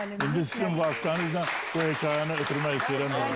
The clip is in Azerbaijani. Anar müəllim, sizin vasitənizlə bu hekayəni ötürmək istəyirəm.